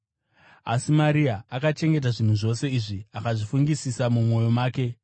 Asi Maria akachengeta zvinhu zvose izvi akazvifungisisa mumwoyo make.